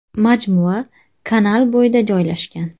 Majmua kanal bo‘yida joylashgan.